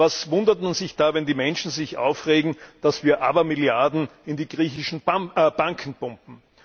Was wundert man sich da, wenn die Menschen sich aufregen, dass wir Abermilliarden in die griechischen Banken pumpen?